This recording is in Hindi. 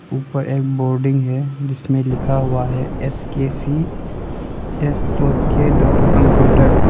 ऊपर एक बोर्डिंग है जिसमें लिखा हुआ है S K C S dot K dot computer.